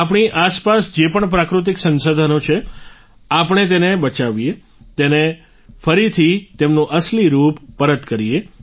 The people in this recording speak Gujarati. આપણી આસપાસ જે પણ પ્રાકૃતિક સંસાધનો છે આપણે તેને બચાવીએ તેમને ફરીથી તેમનું અસલી રૂપ પરત કરીએ